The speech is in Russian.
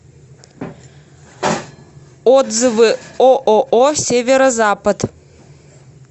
отзывы ооо северо запад